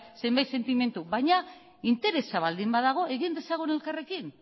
zenbait sentimendu baina interesa baldin badago egin dezagun elkarrekin